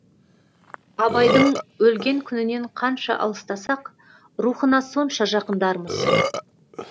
абайдың өлген күнінен қанша алыстасақ рухына сонша жақындармыз